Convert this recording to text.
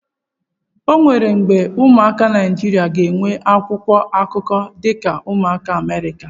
Enwere mgbe ụmụaka Naijiria ga-enwe akwụkwọ akụkọ dị ka ụmụaka Amerịka.